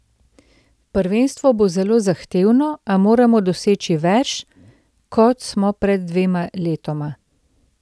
Prvenstvo bo zelo zahtevno, a moramo doseči več, kot smo pred dvema letoma.